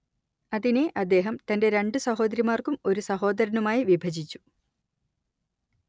അതിനെ അദ്ദേഹം തന്റെ രണ്ടു സഹോദരിമാർക്കും ഒരു സഹോദരനുമായി വിഭജിച്ചു